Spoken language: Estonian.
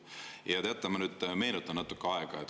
Ja teate, ma nüüd meenutan natukene aega.